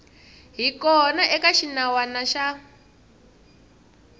hi kona eka xinawana xa